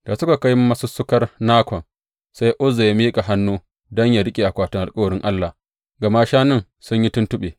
Da suka kai masussukar Nakon, sai Uzza ya miƙa hannu don yă riƙe akwatin alkawarin Allah, gama shanun sun yi tuntuɓe.